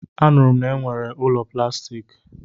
A nụrụ m na-enwere ụlọ plastiki.